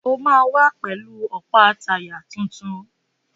O máa wá pẹ̀lú ọ̀pá táyà tuntun.